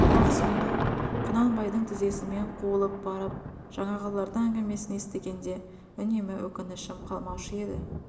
бірақ сонда құнанбайдың тізесімен қуылып барып жаңағылардың әңгімесін естігенде үнемі өкінішім қалмаушы еді